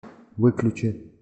выключи